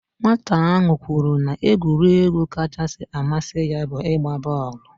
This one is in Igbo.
Nwata ahụ kwuru na egwuregwu kachasị amasi ya bu igba booolu